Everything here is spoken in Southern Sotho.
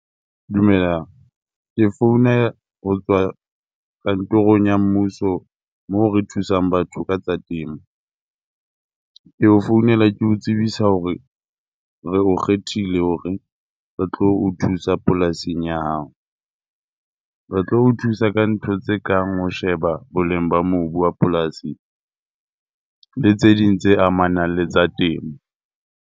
Dumelang. Ke founa ho tswa kantorong ya mmuso, moo re thusang batho ka tsa temo. Ke o founela ke o tsebisa hore re o kgethile hore re tlo o thusa polasing ya hao. Re tlo o thusa ka ntho tse kang ho sheba boleng ba mobu wa polasi le tse ding tse amanang le tsa temo.